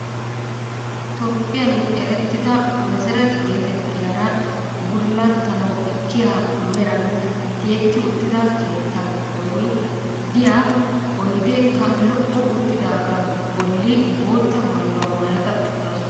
Toophiyaan erettida meseret geetettiyaara bullattanwu ekkiya meran tiyetti uttida keettaa giddooni diya oyideekka lo'o uttidaagaa bolli bootta maayuwa maayada uttaasu.